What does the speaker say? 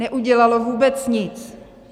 Neudělalo vůbec nic.